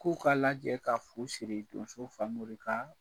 K'u ka lajɛ ka fu siri donso Famori ka